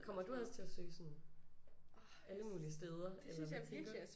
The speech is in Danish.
Kommer du også til at søge sådan alle mulige steder eller hvad tænker du?